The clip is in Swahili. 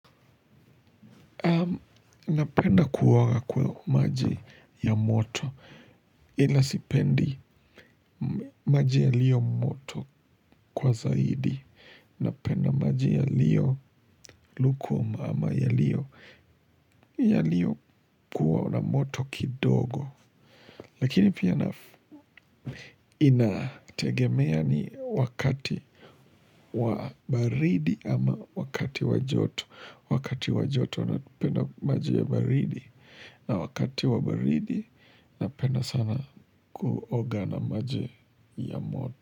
Napenda kuwa kwa maji ya moto ila sipendi maji yaliyo moto kwa zaidi. Napenda maji yaliyo lukuma ama yaliyo. Yaliyo kuwa na moto kidogo. Lakini pia inategemea ni wakati wa baridi ama wakati wa joto. Wakati wa joto napenda maji ya baridi na wakati wa baridi napenda sana kuoga na maji ya moto.